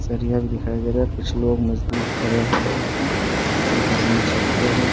सरिया भी दिखाई दे रहा है कुछ लोग मजदूर खड़े हैं एक आदमी छत पर है ।